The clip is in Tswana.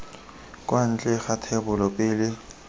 kwa ntle ga thebolo pele